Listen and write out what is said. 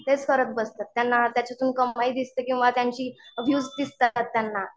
तेच करत बसतात. त्यांना त्याच्यातून कमाई दिसते किंवा त्यांची वीव्हज दिसतात त्यांना